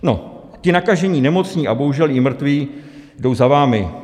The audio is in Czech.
No, ti nakažení nemocní a bohužel i mrtví jdou za vámi.